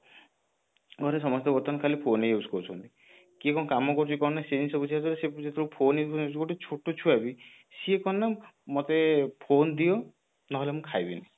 ସମସ୍ତେ ବର୍ତ୍ତମାନ ଖାଲି phone use କରୁଛନ୍ତି କିଏ କଣ କାମ କରୁଛି କଣ ନାହିଁ ସେ ଜିନିଷ ବୁଝିବା ଦ୍ଵାରା ସେ ଯେତେବେଳେ phone ଏବେ ଗୋଟେ ଛୋଟ ଛୁଆ ବି ସିଏ କଣ ନା ମତେ phone ଦିଅ ନହେଲେ ମୁଁ ଖାଇବିନି